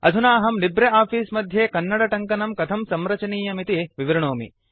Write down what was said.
अधुना अहं Libre Office मध्ये कन्नडटङ्कनं कथं संरचनीयमिति विवृणोमि